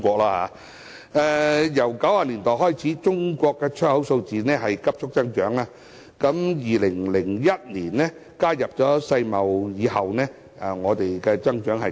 由1990年代開始，中國出口數字急速增長，在2001年加入世界貿易組織之後，增長更快。